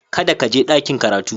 Kada ka je ɗakin karatu